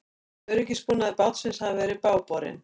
Öryggisbúnaður bátsins hafi verið bágborinn